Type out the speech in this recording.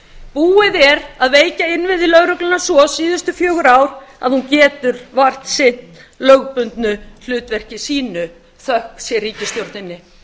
búið er að veikja innviði lögreglunnar svo síðustu fjögur ár að hún getur vart sinnt lögbundnu hlutverki sínu þökk sé ríkisstjórninni